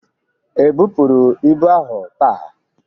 E bụpuru ibu ahụ taa?